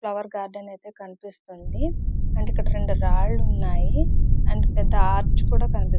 Flower garden ఐతే కనిపిస్తోంది. అంటే ఇక్కడ రెండు రాళ్లు ఉనాయి. అండ్ పెద్ద ఆర్చ్ కూడా కనిపిస్తునాయి.